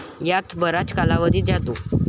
यात बराच कालावधी जातो.